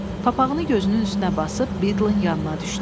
Papağını gözünün üstünə basıb Bildlin yanına düşdü.